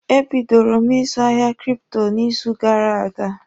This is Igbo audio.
E bidoro m ịzụ ahịa kripto n'izu gara aga.